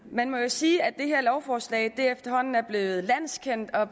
man må jo sige at det her lovforslag efterhånden er blevet landskendt og